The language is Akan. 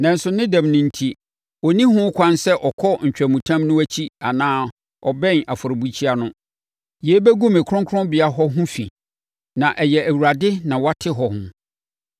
Nanso ne dɛm no enti, ɔnni ho kwan sɛ ɔkɔ ntwamutam no akyi anaa ɔbɛn afɔrebukyia no. Yei bɛgu me kronkronbea hɔ ho fi na ɛyɛ Awurade na wate hɔ ho.”